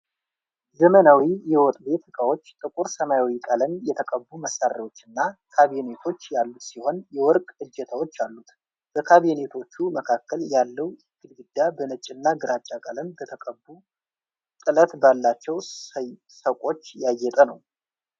ዘመናዊ የወጥ ቤት ዕቃዎች ጥቁር ሰማያዊ ቀለም የተቀቡ መሳቢያዎችና ካቢኔቶች ያሉት ሲሆን የወርቅ እጀታዎች አሉት። በካቢኔቶቹ መካከል ያለው ግድግዳ በነጭና ግራጫ ቀለም በተቀቡ ጥለት ባላቸው ሰቆች ያጌጠ ነው።